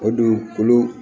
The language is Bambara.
O don olu